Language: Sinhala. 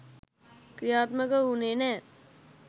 ක්‍රියාත්මක වුණේ නෑ.